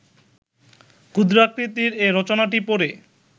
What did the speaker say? ক্ষুদ্রাকৃতির এ রচনাটি পড়ে